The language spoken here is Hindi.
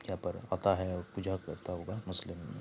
यहाँ पर अता है और पूजा करता होगा मुस्लिम म् --